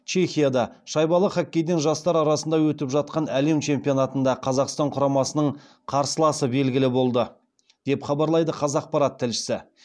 чехияда шайбалы хоккейден жастар арасында өтіп жатқан әлем чемпионатында қазақстан құрамасының қарсыласы белгілі болды деп хабарлайды қазақпарат тілшісі